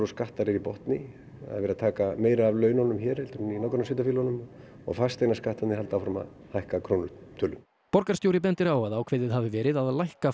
skattar eru í botni það er verið að taka meira af laununum hér heldur en í nágrannasveitarfélögunum og fasteignaskattarnir halda áfram að hækka að krónutölu borgarstjóri bendir á að ákveðið hafi verið að lækka